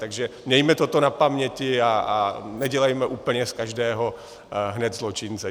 Takže mějme toto na paměti a nedělejme z úplně každého hned zločince.